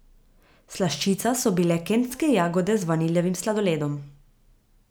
Slaščica so bile kentske jagode z vaniljevim sladoledom.